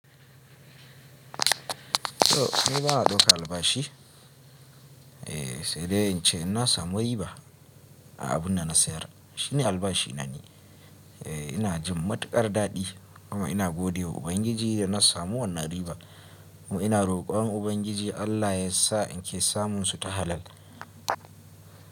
To, ni bana daukar albashi. Eh sedai ince in nasamu riba a abun dana sayar Shi ne albashi na ni. Eh, ina jin matuƙar daɗi kuma ina gode wa Ubangiji da na samu wannan riba kuma ina rokon Ubangiji Allah yasa in ke samun su ta halal.